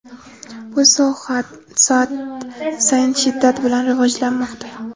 Bu soha soat sayin shiddat bilan rivojlanmoqda.